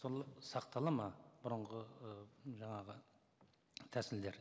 сол сақталады ма бұрынғы ы жаңағы тәсілдер